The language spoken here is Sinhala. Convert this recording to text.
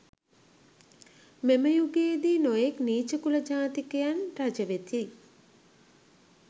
මෙම යුගයේදී නොයෙක් නීච කුල ජාතිකයන් රජ වෙති.